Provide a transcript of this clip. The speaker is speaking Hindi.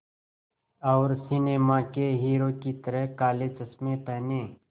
और सिनेमा के हीरो की तरह काले चश्मे पहने